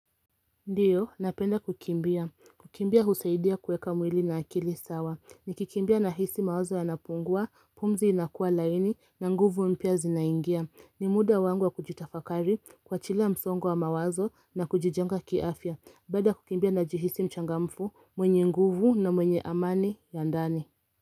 Ndiyo, napenda kukimbia. Kukimbia husaidia kueka mwili na akili sawa. Nikikimbia nahisi mawazo yanapungua, pumzi inakua laini, na nguvu mpya zinaingia. Ni muda wangu wa kujitafakari, kuwachilia msongo wa mawazo na kujijenga kiafya. Baada ya kukimbia najihisi mchangamfu, mwenye nguvu na mwenye amani ya ndani.